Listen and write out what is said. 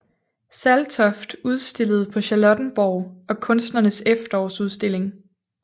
Saltoft udstillede på Charlottenborg og Kunstnernes Efterårsudstilling